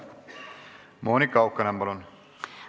Monika Haukanõmm, palun!